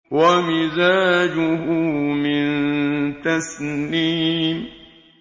وَمِزَاجُهُ مِن تَسْنِيمٍ